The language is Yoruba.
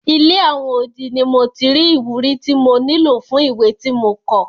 Ilé àwọn odi ni mo ti rí ìwúrí tí mo nílò fún ìwé tí mo kọ.